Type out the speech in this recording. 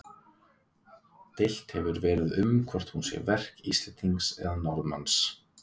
Deilt hefur verið um hvort hún sé verk Íslendings eða Norðmanns.